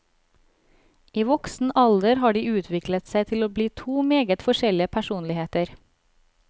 I voksen alder har de utviklet seg til å bli to meget forskjellige personligheter.